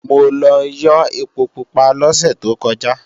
Mo lọ yó ẹpo pupa lọ́sẹ̀ tó kọjá